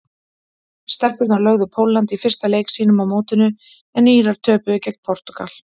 Stelpurnar lögðu Pólland í fyrsta leik sínum á mótinu en Írar töpuðu gegn Portúgal.